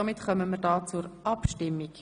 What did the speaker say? Somit kommen wir zur Abstimmung.